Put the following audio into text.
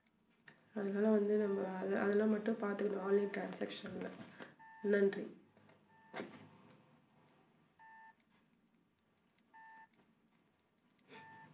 அதனால வந்து நம்ம அதெல்லாம் மட்டும் பாத்துக்கணும் online transaction ல நன்றி.